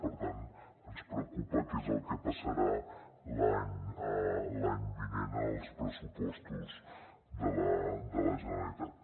per tant ens preocupa què és el que passarà l’any vinent als pressupostos de la generalitat